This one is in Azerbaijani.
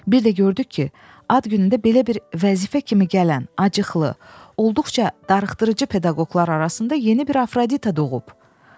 Bir də gördük ki, ad günündə belə bir vəzifə kimi gələn acıxlı, olduqca darıxdırıcı pedaqoqlar arasında yeni bir afrodita doğub.